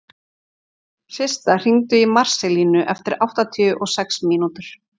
Systa, hringdu í Marselínu eftir áttatíu og sex mínútur.